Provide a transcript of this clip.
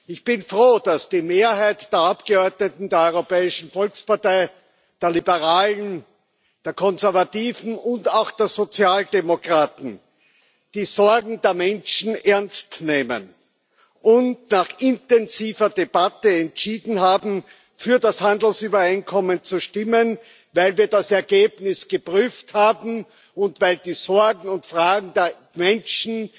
Ich bin froh, dass die Mehrheit der Abgeordneten der Europäischen Volkspartei, der Liberalen, der Konservativen und auch der Sozialdemokraten die Sorgen der Menschen ernst nimmt und sich nach intensiver Debatte entschieden hat, für das Handelsübereinkommen zu stimmen, weil wir das Ergebnis geprüft haben und weil die Sorgen und Fragen der Menschen